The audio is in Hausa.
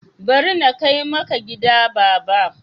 Bari na kai maka gida baba.